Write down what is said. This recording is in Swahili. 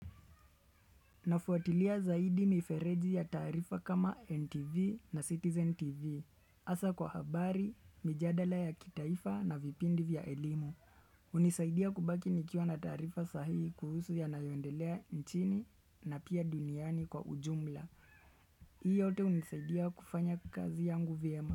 Nafuatilia zaidi mifereji ya taarifa kama NTV na Citizen TV. Hasa kwa habari, mijadala ya kitaifa na vipindi vya elimu. Hunisaidia kubaki nikiwa na taarifa sahihi kuhusu yanayondelea nchini na pia duniani kwa ujumla. Hii yote hunisaidia kufanya kazi yangu vyema.